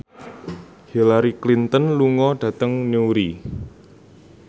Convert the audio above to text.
Hillary Clinton lunga dhateng Newry